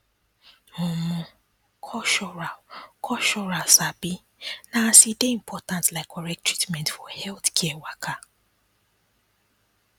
omo cultural cultural sabi na as e dey important like correct treatment for healthcare waka